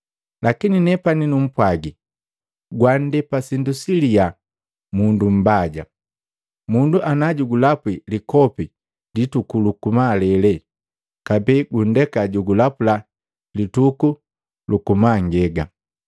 Lakini nepani numpwagi, gwandepa sindu silia mundu mbaja. Mundu ana jugulapwi likopi lituku luku malele, kabee gundeka jugulapula lituku luku mangega,